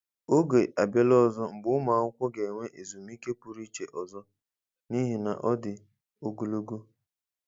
Oge abịala ọzọ mgbe ụmụ akwụkwọ ga-enwe ezumike pụrụ iche ọzọ n'ihi na ọ dị ogologo.